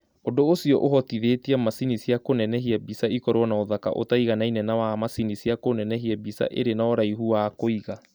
Ũndũ ũcio ũhotithĩtie macini cia kũnenehia mbica ikorũo na ũthaka ũtaiganaine na wa macini cia kũnenehia mbica irĩ na ũraihu wa kũiga.